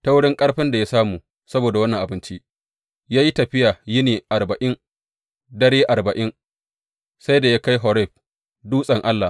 Ta wurin ƙarfin da ya samu saboda wannan abinci, ya yi tafiya yini arba’in da dare arba’in, sai da ya kai Horeb, dutsen Allah.